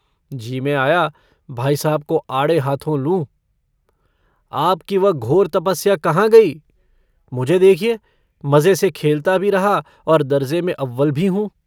जी में आया भाई साहब को आड़े हाथों लूँ। आपकी वह घोर तपस्या कहाँ गई? मुझे देखिए, मज़े से खेलता भी रहा और दर्जे़ में अव्वल भी हूँ।